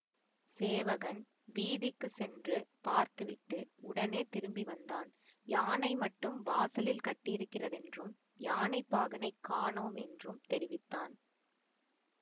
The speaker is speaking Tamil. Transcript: சேவகன் வீதிக்குச் சென்று பார்த்துவிட்டு உடனே திரும்பி வந்தான் யானை மட்டும் வாசலில் கட்டியிருக்கிறதென்றும் யானைப்பாகனைக் காணோம் என்றும் தெரிவித்தான்